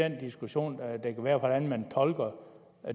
en diskussion af hvordan man tolker